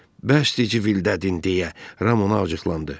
Bəsdir civildədin deyə, Ram onu ovcuxladı.